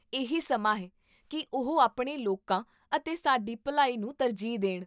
ਇਹੀ ਸਮਾਂ ਹੈ ਕੀ ਉਹ ਆਪਣੇ ਲੋਕਾਂ ਅਤੇ ਸਾਡੀ ਭਲਾਈ ਨੂੰ ਤਰਜੀਹ ਦੇਣ